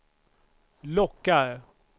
lockar